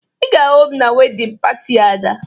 Ị ga-ahụ m na wedịn pati Ada